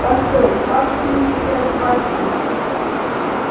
постой как же мы тебя звать будем